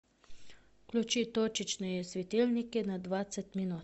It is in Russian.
включи точечные светильники на двадцать минут